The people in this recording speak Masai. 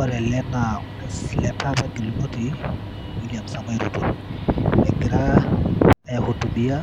Ore ele naa orais gelunoti William Samoei Ruto egira ai hutubia